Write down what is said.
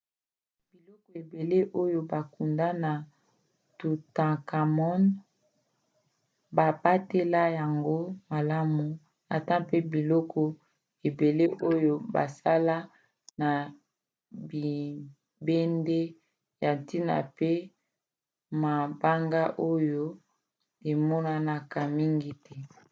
biloko ebele oyo bakunda na toutankhamon babatela yango malamu ata mpe biloko ebele oyo basala na bibende ya ntina pe mabanga oyo emonanaka mingi te